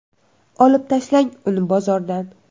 Olib tashlang uni bozordan.